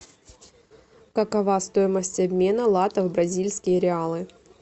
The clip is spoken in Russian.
какова стоимость обмена латов в бразильские реалы